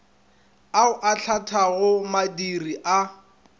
ao a hlathago madiri a